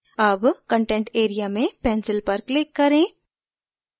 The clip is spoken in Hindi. अब content area में pencil पर click करें